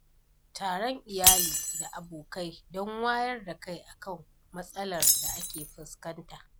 Taron iyali da abokai don wayar da kai akan matsalar da ake fuskanta.